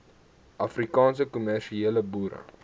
afrikaanse kommersiële boere